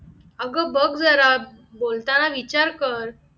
अगं बघ जरा बोलताना जरा विचार कर